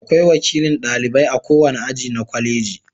Akwai wakilin ɗalibai a kowane aji na kwaleji.